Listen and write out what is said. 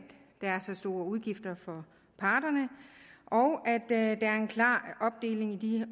der er så store udgifter for parterne og at der er en klar opdeling i